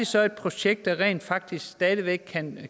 så et projekt der rent faktisk stadig væk kan